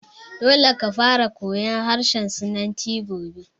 Dole ka fara koyan harshen sinanci gobe!